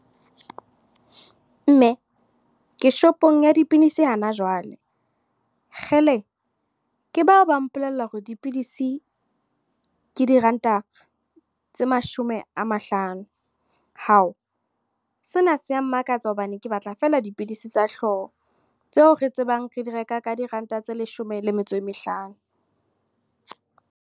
Mme, ke shopong ya dipilisi hana jwale. Kgele! Ke bao ba mpolella hore dipilisi, ke diranta tse mashome a mahlano. Hao! Sena se ya mmakatsa hobane ke batla feela dipilisi tsa hlooho. Tseo re tsebang re di reka ka diranta tse leshome le metso e mehlano.